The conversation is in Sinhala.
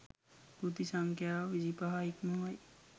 කෘති සංඛ්‍යාව විසිපහ ඉක්මවයි.